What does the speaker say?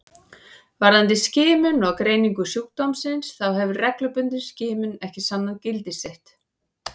Varðandi skimun og greiningu sjúkdómsins þá hefur reglubundin skimun ekki sannað gildi sitt.